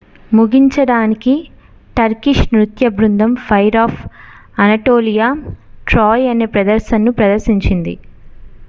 "ముగించడానికి టర్కిష్ నృత్య బృందం ఫైర్ ఆఫ్ అనటోలియా "ట్రాయ్" అనే ప్రదర్శనను ప్రదర్శించింది.